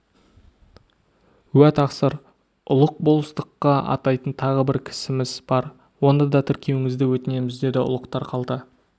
уә тақсыр ұлық болыстыққа атайтын тағы бір кісіміз бар оны да тіркеуіңізді өтінеміз деді ұлықтар қалта